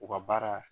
U ka baara